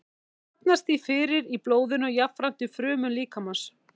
Það safnast því fyrir í blóðinu og jafnframt í frumum líkamans.